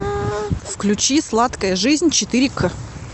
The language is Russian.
включи сладкая жизнь четыре к